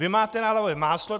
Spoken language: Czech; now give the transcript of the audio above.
Vy máte na hlavě máslo!